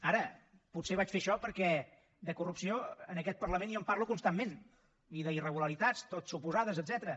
ara potser vaig fer això perquè de corrupció en aquest parlament jo en parlo constantment i d’irregularitats tot suposades etcètera